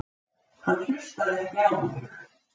Hann hlustaði ekki á mig.